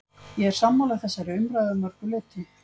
Ég er sammála þessari umræðu að mörgu leyti.